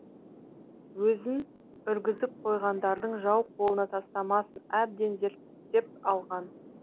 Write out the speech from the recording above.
өзін үргізіп қойғандардың жау қолына тастамасын әбден зерттепалған